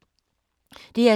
DR2